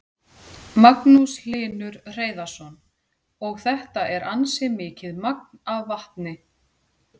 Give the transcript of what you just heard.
Magnús Hlynur Hreiðarsson: Og þetta er ansi mikið magn af vatni?